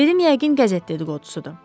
Dedim yəqin qəzet dedi-qodusudur.